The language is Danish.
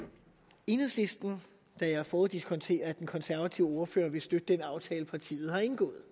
enhedslisten da jeg foruddiskonterer at den konservative ordfører vil støtte den aftale partiet har indgået